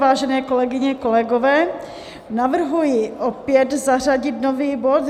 Vážené kolegyně, kolegové, navrhuji opět zařadit nový bod.